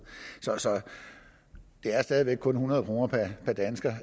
det er stadig væk kun hundrede kroner per dansker